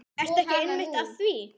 Ertu ekki einmitt að því?